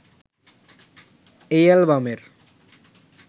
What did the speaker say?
এই অ্যালবামের